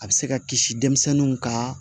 A bɛ se ka kisi denmisɛnninw ka